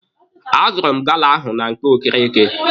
A zụrụ m gala ahụ na nke Okereke.